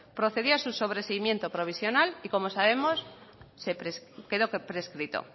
procedió a su sobreseimiento provisional y como sabemos quedó prescrito